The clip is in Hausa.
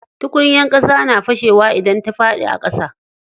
Tukunyar ƙasa na fashe wa idan ta faɗi a ƙasa.